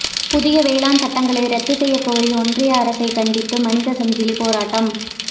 புதிய வேளாண் சட்டங்களை ரத்து செய்யக்கோரி ஒன்றிய அரசை கண்டித்து மனித சங்கிலி போராட்டம்